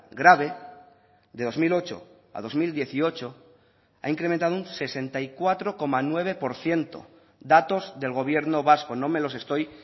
grave de dos mil ocho a dos mil dieciocho ha incrementado un sesenta y cuatro coma nueve por ciento datos del gobierno vasco no me los estoy